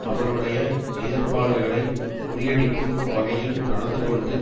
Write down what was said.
அவருடைய எதிர்ப்பாளர்களை முறியடிக்கும் வகையில் நடந்து கொண்டு